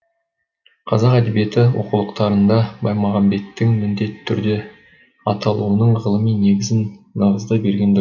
қазақ әдебиеті оқулықтарында баймағамбеттің міндетті түрде аталуының ғылыми негізін нығыздай берген